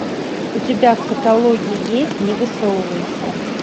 у тебя в каталоге есть не высовывайся